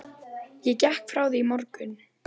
Ég gekk frá því í morgun.